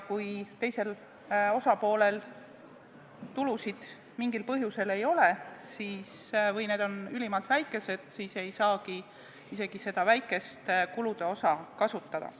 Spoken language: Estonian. Kui teisel osapoolel tulusid mingil põhjusel ei ole või need on ülimalt väikesed, siis ei saa isegi seda väikest kulude osa kasutada.